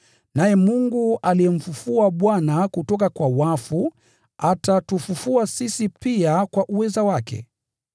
Naye Mungu aliyemfufua Bwana kutoka kwa wafu atatufufua sisi pia kwa uweza wake.